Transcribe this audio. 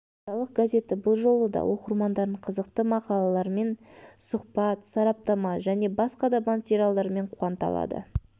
апталық газеті бұл жолы да оқырмандарын қызықты мақалалармен сұхбат сараптама және басқа да материалдармен қуанта алады